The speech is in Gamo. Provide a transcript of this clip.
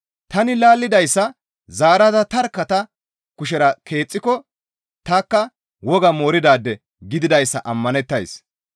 Tani laallidayssa zaarada tarkka ta kushera keexxiko tanikka woga mooridaade gididayssa ammanettays.